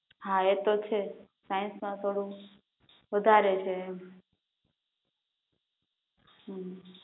હા એ તો છે સાયન્સ માં થોડું વધારે હે એમ હમ